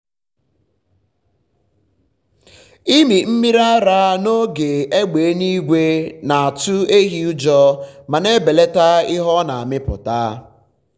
ịmị mmiri ara n’oge égbè eluigwe na-atụ ehi ụjọ ma na-ebelata ihe ọ na-amịpụta.